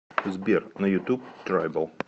сбер на ютуб трайбл